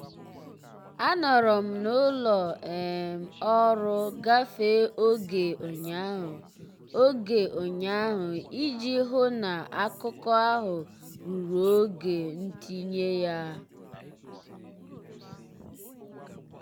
anọrọ m n'ụlọ um ọrụ gafee oge ụnyaahụ oge ụnyaahụ iji hụ na akụkọ ahụ ruru oge ntinye ya.